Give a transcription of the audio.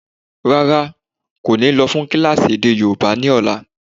Rárá, kò ní lọ́ fún kílásì èdè yóòbá ni ọ̀la.